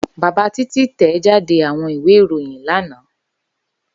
Baba Titi tẹjáde awọn iwe iroyin lana.